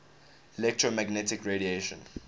electromagnetic radiation